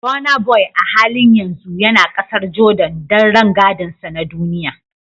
Burnaboy a halin yanzu yana kasar Jordan don rangadinsa na duniya